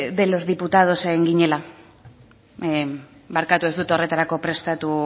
de los diputados en ginela barkatu ez dut horretarako prestatu